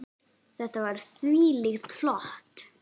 Þetta var þvílíkt flott.